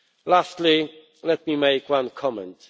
Lastly, let me make one comment.